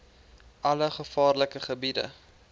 alle gevaarlike gebiede